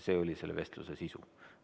See oli selle vestluse sisu.